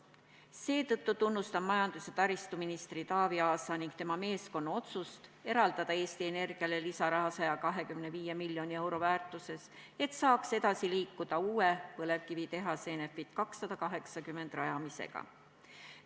Seetõttu tunnustan majandus- ja taristuminister Taavi Aasa ning tema meeskonna otsust eraldada Eesti Energiale 125 miljonit eurot lisaraha, et saaks edasi liikuda uue põlevkivitehase Enefit 280 rajamisega.